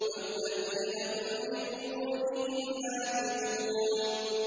وَالَّذِينَ هُمْ لِفُرُوجِهِمْ حَافِظُونَ